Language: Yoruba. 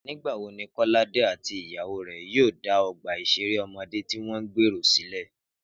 Nígbà wo ni Kọ́ládé àti ìyàwó rẹ̀ yóò dá ọgbà ìṣeré ọmọdé tí wọ́n gbèrò sílẹ̀?